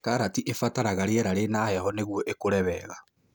Karati ĩbataraga rĩera rĩna heho nĩguo ĩkũre wega